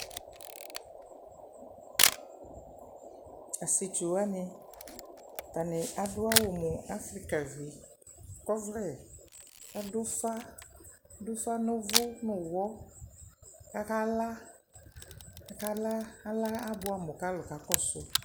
tʋasietsʋ wani tani adʋawʋ mʋ afrikavi kɔvlɛ adʋ ʋfa adʋ ʋfa nʋ ʋvu nʋwhɔ kakala alayɛ abuɛamʋ kalʋ aka kɔsʋʋ